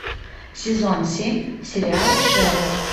сезон семь сериала шерлок